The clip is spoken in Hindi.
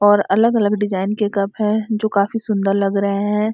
और अलग अलग डिजाइन के कप हैं जो काफी सुंदर लग रहें हैं|